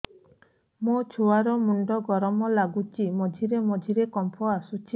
ମୋ ଛୁଆ ର ମୁଣ୍ଡ ଗରମ ଲାଗୁଚି ମଝିରେ ମଝିରେ କମ୍ପ ଆସୁଛି